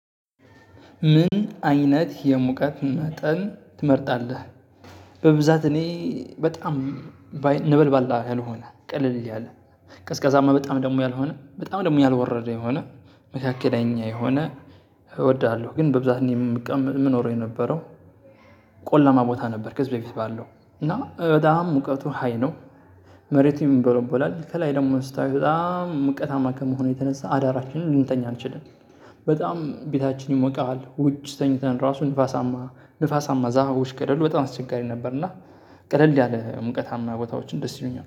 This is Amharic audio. ምን አይነት የሙቀት መጠን ትመርጣለህ? በብዛት እኔ በጣም ነበልባል ያልሆነ ቀለል ያለ ቀዝቀዛማ በጣም ደግሞ ያልሆነ በጣም ደግሞ ያልወረደ የሆነ መካከለኛ የሆነ እወዳለሁ። ግን በብዛት እኔ የምቀመጥ የምኖረው የነበረው ቆላማ ቦታ ነበር። ከዚህ በፊት ባለው እና በጣም ሙቀቱ ሃይ ነው። መሬትቱም ይምቦለቦላል ከላይ ደግሞ ስታይ በጣም ሙቀታማ ከመሆኑ የተነሳ አዳራችንን ልንተኛ አንችልም። በጣም ቤታችን ይሞቃል ውጭ ተኝተን ራሱ ንፋሳማ ንፋሳማ ዛሀውሽ ቀደል በጣም አስቸጋሪ ነበር። እና ቀደል ያለ ሙቀታማ ቦታዎችን ደስ ይሉኛል